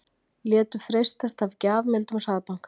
Létu freistast af gjafmildum hraðbanka